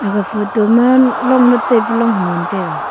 aga photo ma longnak taipa long ham tai taga.